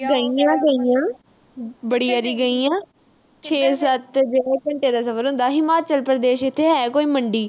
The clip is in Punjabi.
ਗਈ ਆਂ, ਗਈ ਆਂ। ਬੜੀ ਵਾਰੀ ਗਈ ਆਂ। ਛੇ-ਸੱਤ ਜਿਹੜਾ ਘੰਟਾ ਦਾ ਸਫ਼ਰ ਹੁੰਦਾ। ਇਥੇ ਹਿਮਾਚਲ ਪ੍ਰਦੇਸ਼ ਹੈ ਕੋਈ ਮੰਡੀ।